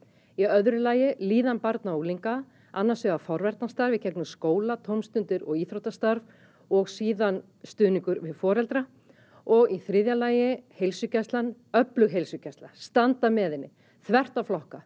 í öðru lagi líðan barna og unglinga annars vegar forvarnarstarf í gegnum skóla tómstundir og íþróttastarf og síðan stuðningur við foreldra og í þriðja lagi heilsugæslan öflug heilsugæsla standa með henni þvert á flokka